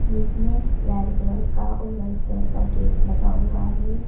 जिसमें red colour का और व्हाइट कलर का गेट लगा हुआ है।